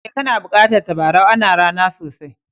Eh, kana bukatan tabarau. Ana ra'na sosai.